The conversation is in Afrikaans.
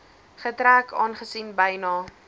getrek aangesien byna